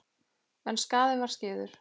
En skaðinn var skeður.